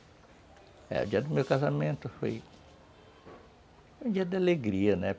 É, o dia do meu casamento foi... Foi um dia de alegria, né?